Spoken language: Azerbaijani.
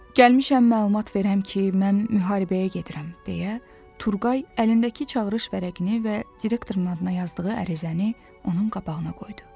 Gəlmişəm məlumat verəm ki, mən müharibəyə gedirəm, deyə Turqay əlindəki çağırış vərəqini və direktorun adına yazdığı ərizəni onun qabağına qoydu.